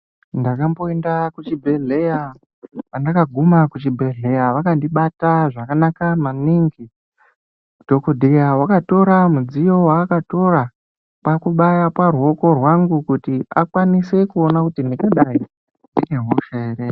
Ndakamboenda kuzvigwehleya, pandaka guma kuzvigwehleya vakandibata zvakanaka maningi ,dhongodheya akatora mudziyo wakatora kwakubaya paruoko rwangu kuti akwanise kuona ndingadai ndine hosha.